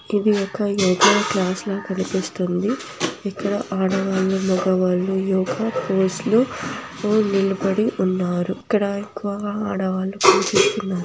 ఇది ఒక యోగ క్లాస్ లా కనిపిస్తుంది. ఇక్కడ ఆడవాళ్లు మగవాళ్ళు యోగా ఫోజ్ లో నిలబడి ఉన్నారు. ఇక్కడ ఎక్కువ ఆడవాళ్లు కనిపిస్తున్నారు.